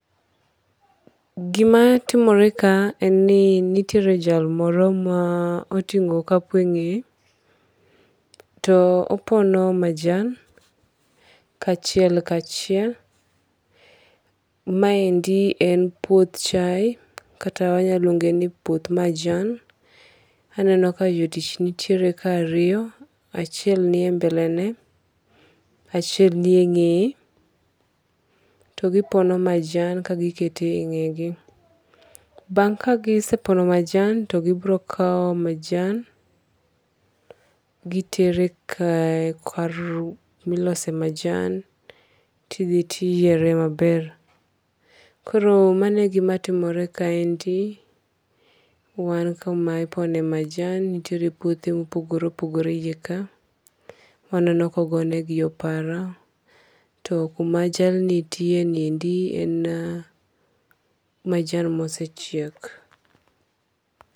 Gi ma timore ka en ni nitiere jal moro ma oting'o okapu e ng'eye to opono majan kachiel kaachiel maendi en puoth chaye kata wanyalo luonge ni en puoth majan. Aneno ka jotich nitiere ka e ariyo, achiel ni e mbele ne, achiel ni e ng'eye, to gi pono ma jan ka gi keto e ng'e gi. Bang ka gi sepono majan to gi biro kawo majan gitero kar ku ma ilose majan to idhi ti iyiere maber. Koro mano e gi ma timore ka endi wan kuma ipone majan nitiere puothe ma opogore opogore iye ka aneno ka ogone gi opara to ku ma paro ni nitie endi en majan ma osechiek.